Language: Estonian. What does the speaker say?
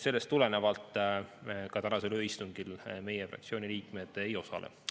Sellest tulenevalt tänasel ööistungil meie fraktsiooni liikmed ei osale.